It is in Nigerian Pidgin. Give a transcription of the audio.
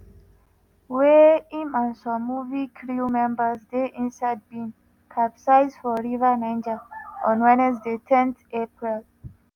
wey im and some movie crew members dey inside bin capsize for river niger on wednesday ten april.